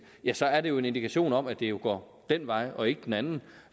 ja så er det jo en indikation om at det går den vej og ikke den anden